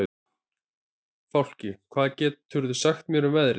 Fálki, hvað geturðu sagt mér um veðrið?